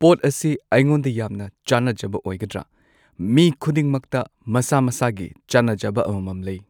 ꯄꯣꯠ ꯑꯁꯤ ꯑꯩꯉꯣꯟꯗ ꯌꯥꯝꯅ ꯆꯥꯅꯖꯕ ꯑꯣꯏꯒꯗ꯭ꯔꯥ ꯃꯤ ꯈꯨꯗꯤꯡꯃꯛꯇ ꯃꯁꯥ ꯃꯁꯥꯒꯤ ꯆꯥꯅꯖꯕ ꯑꯃꯃꯝ ꯂꯩ